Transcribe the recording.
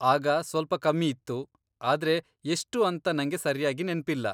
ಆಗ ಸ್ವಲ್ಪ ಕಮ್ಮಿ ಇತ್ತು, ಆದ್ರೆ ಎಷ್ಟು ಅಂತ ನಂಗೆ ಸರ್ಯಾಗಿ ನೆನ್ಪಿಲ್ಲ.